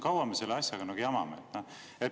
Kaua me selle asjaga jamame?